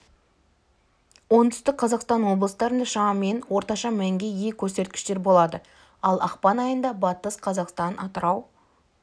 оңтүстік қазақстан облыстарында шамамен орташа мәнге ие көрсеткіштер болады ал ақпан айында батыс қазақстан атырау